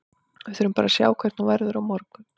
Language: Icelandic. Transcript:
Við þurfum bara að sjá hvernig hún verður á morgun.